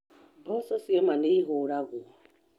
Mboco cioma nĩ ihũragwo.